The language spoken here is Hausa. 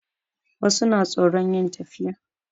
Wasu na tsoron yin tafiya